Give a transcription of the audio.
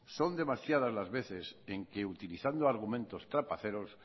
son demasiadas la veces en que utilizando argumentos trapaceros